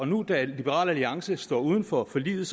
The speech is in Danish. nu da liberal alliance står uden for forliget